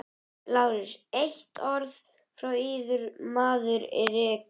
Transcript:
LÁRUS: Eitt orð frá yður og maðurinn er rekinn!